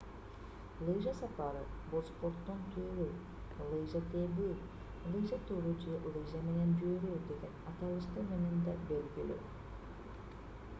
лыжа сапары бул спорттун түрү лыжа тебүү лыжа туру же лыжа менен жүрүү деген аталыштар менен да белгилүү